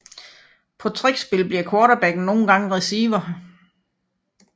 På trick spil bliver quarterbacken nogle gange receiver